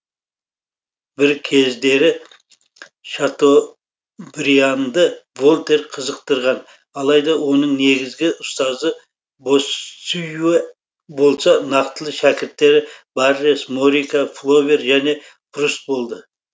бір кездері шатобрианды вольтер қызықтырған алайда оның негізгі ұстазы боссюэ болса нақтылы шәкірттері баррес морика флобер және пруст болды